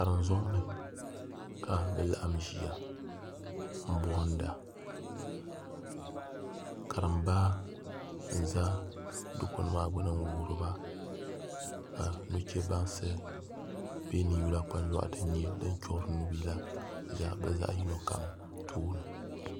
Karim zoŋni ka bi laɣam ʒiya n bohanda karimba n ʒɛ dikpuni maa gbuni n wuhuriba ka nuchɛ bansi bɛ ninyula kpanjoɣu din nyɛ din choɣari nubihi la ʒɛ bi zaaha tooni